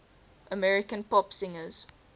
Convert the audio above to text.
american pop singers